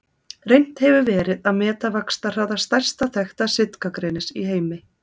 Reynt hefur verið að meta vaxtarhraða stærsta þekkta sitkagrenis í heimi.